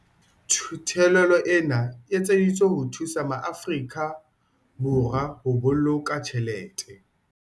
Theolelo ena e etseditswe ho thusa maAfori ka Borwa ho boloka tjhelete.